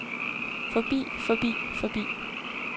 forbi forbi forbi